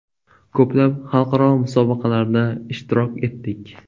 Ko‘plab xalqaro musobaqalarda ishtirok etdik.